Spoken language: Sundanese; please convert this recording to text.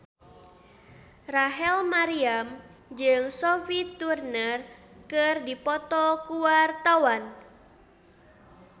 Rachel Maryam jeung Sophie Turner keur dipoto ku wartawan